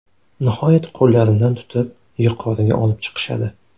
Nihoyat qo‘llarimdan tutib, yuqoriga olib chiqishadi.